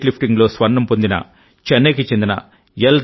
wait lifting లో స్వర్ణం పొందిన చెన్నై కి చెందిన ఎల్